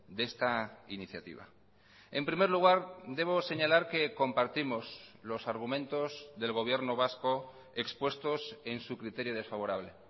de esta iniciativa en primer lugar debo señalar que compartimos los argumentos del gobierno vasco expuestos en su criterio desfavorable